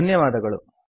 ಧನ್ಯವಾದಗಳು